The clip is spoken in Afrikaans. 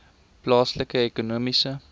plaaslike ekonomiese